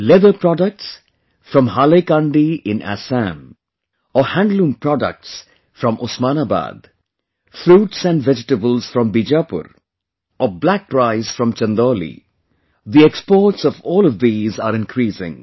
Leather products from Hailakandi in Assam or handloom products from Osmanabad, fruits and vegetables from Bijapur or black rice from Chandauli, the exports of all of these are increasing